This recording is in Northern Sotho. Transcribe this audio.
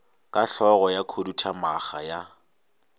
ka hlogo ya khuduthamaga ya